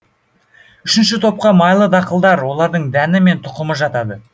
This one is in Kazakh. үшінші топқа майлы дақылдар олардың дәні мен тұқымы жатады